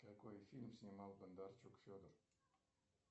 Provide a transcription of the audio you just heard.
какой фильм снимал бондарчук федор